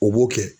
O b'o kɛ